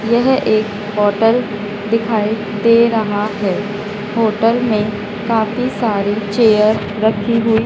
यह एक होटल दिखाई दे रहा है होटल में काफी सारी चेयर रखी हुई--